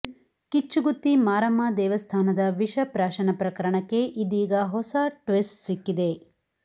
ಕಿಚ್ಚುಗುತ್ತಿ ಮಾರಮ್ಮ ದೇವಸ್ಥಾನದ ವಿಷ ಪ್ರಾಶನ ಪ್ರಕರಣಕ್ಕೆ ಇದೀಗ ಹೊಸ ಟ್ವಿಸ್ಟ್ ಸಿಕ್ಕಿದೆ